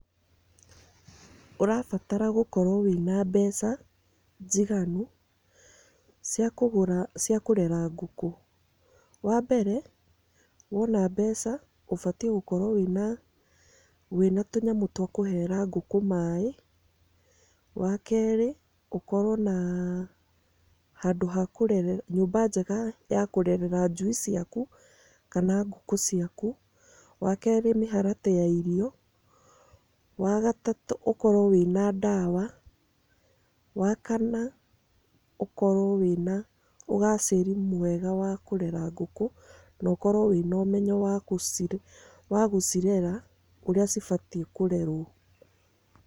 Ũrabatara gũkorwo wĩna mbeca njigani cia kũgũra, cia kũrera ngũkũ, wa mbere woina mbeca ũbatiĩ gũkorwo wĩna tũnyamũ twa kũhera ngũkũ maaĩ. Wa kerĩ ũkorwo na nyũmba njega ya kũrerera njui ciaku kana ngũkũ ciaku. Wa kerĩ mĩharatĩ ya irio, wa gatatũ ũkorwo wĩna nmdawa wa kana ũkorwo wĩna ũgacĩru mwega wa kũrera ngũkũ na ũkorwo wĩna ũmenyo wa gũcirera ũrĩa cibatiĩ kũrerwo.